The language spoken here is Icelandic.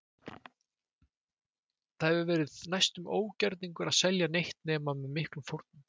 Það hefur því verið næstum ógerningur að selja neitt nema með miklum fórnum.